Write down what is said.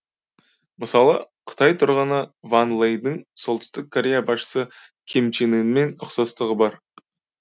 мысалы қытай тұрғыны ван лэйдің солтүстік корея басшысы ким чен ынмен ұқсастығы бар